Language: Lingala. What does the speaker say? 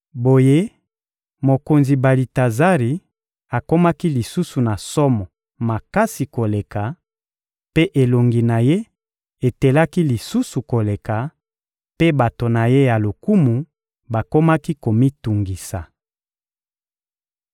Boye, mokonzi Balitazari akomaki lisusu na somo makasi koleka, mpe elongi na ye etelaki lisusu koleka; mpe bato na ye ya lokumu bakomaki komitungisa.